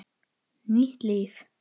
Nýtt líf.